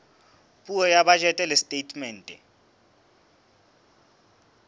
puo ya bajete le setatemente